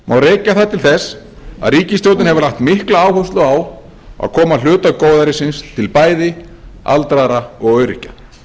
rekja það til þess að ríkisstjórnin hefur lagt mikla áherslu á að koma hluta góðærisins til bæði aldraðra og öryrkja